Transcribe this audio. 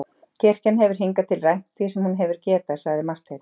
Kirkjan hefur hingað til rænt því sem hún hefur getað, sagði Marteinn.